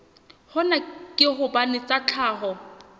hona ke hobane tsa tlhaho